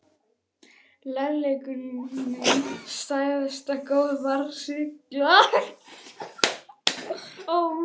Kærleikurinn- hið æðsta góða- var skilgreindur á andlegum nótum.